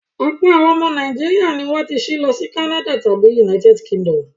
Ọ̀pọ̀ àwọn ará Nàìjíríà ni wọ́n ti ṣí lọ sí Canads tàbí United Kingdom.